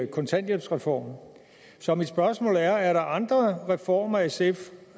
kontanthjælpsreformen så mit spørgsmål er er der andre reformer sf